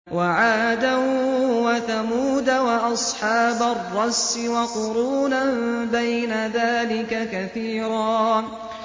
وَعَادًا وَثَمُودَ وَأَصْحَابَ الرَّسِّ وَقُرُونًا بَيْنَ ذَٰلِكَ كَثِيرًا